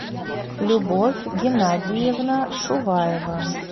любовь геннадьевна шуваева